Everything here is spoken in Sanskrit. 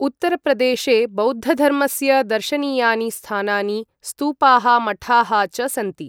उत्तरप्रदेशे बौद्धधर्मस्य दर्शनीयानि स्थानानि, स्तूपाः, मठाः च सन्ति।